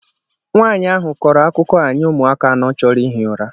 Nwanyị ahụ kọrọ akụkọ a nye ụmụaka anọ choro ihi ụra